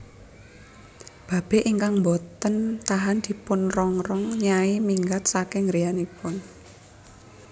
Babe ingkang mbote tahan dipunrongrong Nyai minggat saking griyanipun